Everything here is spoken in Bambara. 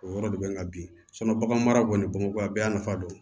O yɔrɔ de bɛ n na bi bagan mara kɔni bamakɔ a bɛɛ y'a nafa don